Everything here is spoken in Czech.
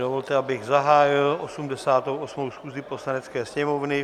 Dovolte, abych zahájil 88. schůzi Poslanecké sněmovny.